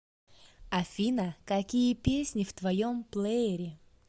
афина какие песни в твоем плеере